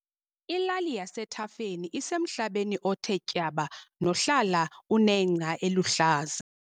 Ilali yasethafeni isemhlabeni othe tyaba nohlala unengca eluhlaza.